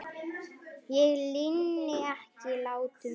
Ég linni ekki látum fyrr.